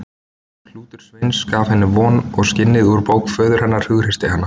Klútur Sveins gaf henni von og skinnið úr bók föður hennar hughreysti hana.